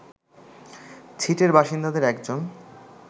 ছিটের বাসিন্দাদের একজন